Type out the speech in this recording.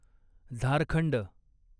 Jharkhand